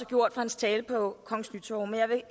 gjort for hans tale på kongens nytorv og jeg vil